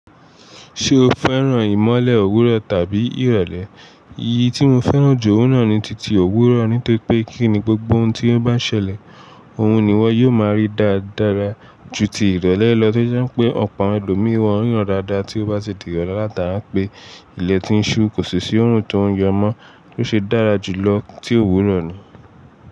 Ṣé o fẹ́ràn ìmọ́lẹ̀ òwúrọ̀ tàbí ìrọ̀lẹ́? Eyí tí mo fẹ́ràn jù ó náà ni titi òwúrọ̀, nítorí pé kíni gbogbo ohun tí ó n bá ṣẹlẹ̀, òhun ni wọ yóò máa rí dáradára ju ti ìrọ̀lẹ́ lọ tí ó jẹ́ pé ọ̀pọ̀ àwọn ẹlòmíràn won ríran dáadáa tí ó bá ti di ìrọ̀lẹ́ látara pé ilẹ̀ tí ń ṣú kò sì sí òórùn tó ń yọ mọ́, tó ṣe dára jù lọ tí òwúrọ̀ ni.